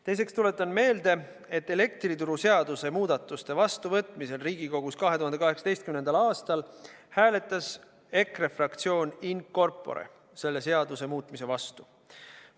Teiseks tuletan meelde, et elektrituruseaduse muudatuste vastuvõtmisel Riigikogus 2018. aastal hääletas EKRE fraktsioon in corpore selle seaduse muutmise vastu.